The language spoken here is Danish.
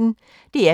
DR P1